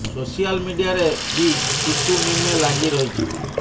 social ମିଡିଆରେ ବି ତୁ ତୁ ମେ ମେ ଲାଗି ରହିଛି